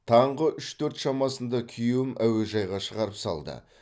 таңғы үш төрт шамасында күйеуім әуежайға шығарып салды